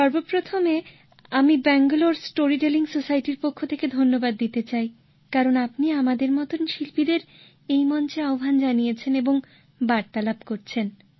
সর্বপ্রথমে আমি ব্যাঙ্গালোর স্টোরিটেলিং সোসাইটির পক্ষ থেকে ধন্যবাদ দিতে চাই কারণ আপনি আমাদের মত শিল্পীদের এই মঞ্চে আহ্বান জানিয়েছেন এবং বার্তালাপ করছেন